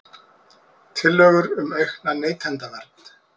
Tillögur um aukna neytendavernd